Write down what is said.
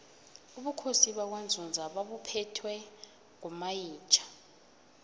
ubukhosi bakwanzunza babuphetwe ngomayitjha